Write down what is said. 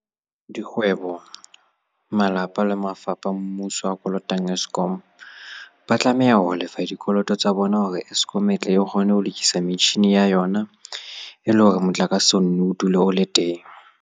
Dikgwe bo, malapa le mafapha a mmuso a kolotang Eskom, ba tlameha ho lefa dikoloto tsa bona hore Eskom e tle e kgone ho lokisa metjhini ya yona e le hore motlakase o nne o dule o le teng.